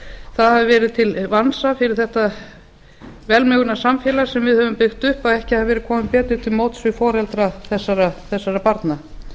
það hafi verið til vansa fyrir þetta velmegunarsamfélag sem við höfum byggt upp að ekki hefur verið komið betur til móts við foreldra þessara barna